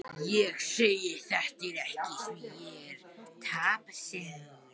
Ég segi þetta ekki því ég er tapsár.